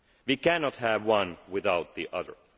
We cannot have one without the